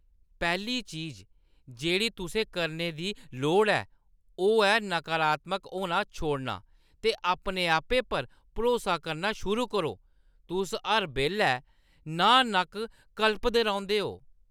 पैह्‌ली चीज जेह्ड़ी तुसें करने दी लोड़ ऐ, ओह् ऐ नकारात्मक होना छोड़ना ते अपने आपै पर भरोसा करना शुरू करो। तुस हर बेल्लै नांह्-न्हक्क कल्पदे रौंह्‌दे ओ।